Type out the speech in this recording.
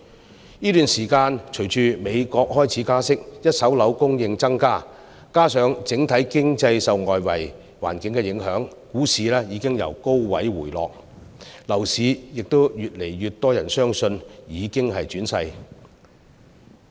在這段時間，隨着美國開始加息，一手樓供應增加，加上整體經濟受外圍環境影響，股市已經由高位回落，亦越來越多人相信樓市已經轉勢。